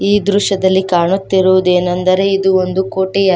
ಈ ದೃಶ್ಯದಲ್ಲಿ ಕಾಣುತ್ತಿರುವುದೇನೆಂದರೆ ಇದು ಒಂದು ಕೋಟೆಯಾಗಿ--